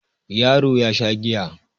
Yaro ya Sha giya